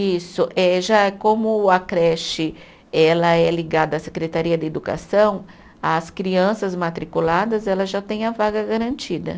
Isso, eh já como a creche ela é ligada à Secretaria de Educação, as crianças matriculadas elas já têm a vaga garantida.